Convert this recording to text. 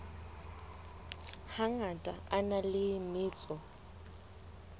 hangata a na le metso